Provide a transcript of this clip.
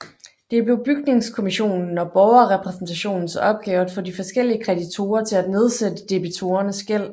Det blev bygningskommissionen og borgerrepræsentationens opgave at få de forskellige kreditorer til at nedsætte debitorernes gæld